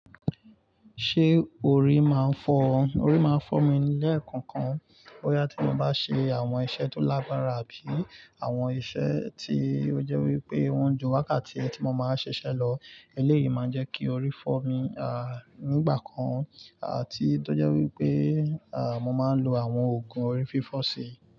Ṣé orí máa ń fọ ọ? Orí máa ń fọ́ mi lẹ́ẹ̀kọ̀kan. Boya tí mo bá ṣe àwọn iṣẹ́ tó lágbára àbí àwọn iṣẹ́ tí ó jẹ́ wípé ó ń ju wákàtí ẹtí mo máa ń ṣiṣẹ́ lọ, eléyìí máa ń jẹ́ kí orí fọ́ mi. À, nígbà kan, à tí tó jẹ́ wípé, à mo máa ń lo àwọn òògùn orí fífọ̀ sí i.